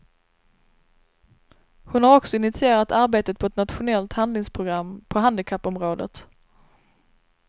Hon har också initierat arbetet på ett nationellt handlingsprogram på handikappområdet.